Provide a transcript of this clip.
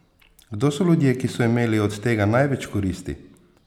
Kdo so ljudje, ki so imeli od tega največ koristi?